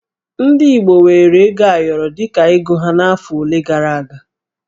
Ndị Igbo weere ego ayọrọ dị ka ego ha n'afọ ole gara aga